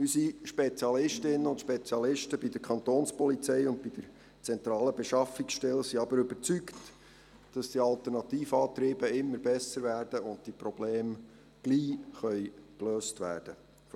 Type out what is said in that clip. Unsere Spezialistinnen und Spezialisten bei der Kantonspolizei und bei der zentralen Beschaffungsstelle sind jedoch überzeugt, dass die Alternativantriebe immer besser werden und diese Probleme bald gelöst werden können.